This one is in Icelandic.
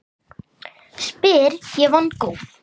spyr ég vongóð.